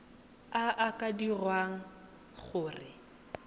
a a ka dirang gore